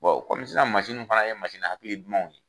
kɔmi nunnu fana ye hakili dumanw ye